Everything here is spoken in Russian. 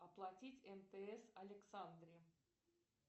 оплатить мтс александре